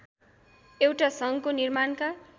एउटा सङ्घको निर्माणका